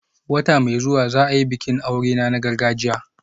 Wata mai zuwa za a yi bikin aurena na gargajiya